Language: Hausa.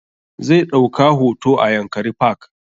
Zai ɗauka hoto a yankari park